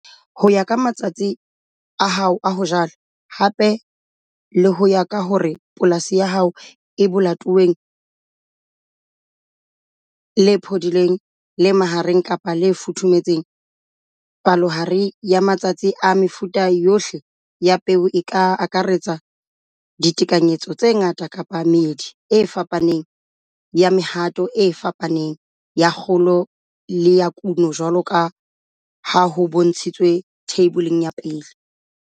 Ho ya ka matsatsi a hao a ho jala, hape le ho ya ka hore polasi ya hao e lebatoweng le phodileng, le mahareng kapa le futhumetseng, palohare ya matsatsi a mefuta yohle ya peo e ka akaretsa ditekanyetso tse ngata kapa meedi e fapaneng ya mehato e fapaneng ya kgolo le ya kuno jwalo ka ha ho bontshitswe Theiboleng ya 1.